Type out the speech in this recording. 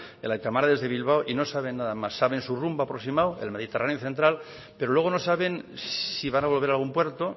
el aita mari desde bilbao y no saben nada más saben su rumbo aproximado el mediterráneo central pero luego no saben si van a volver a algún puerto